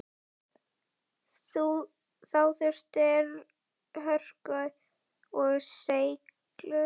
Þá þurfti hörku og seiglu.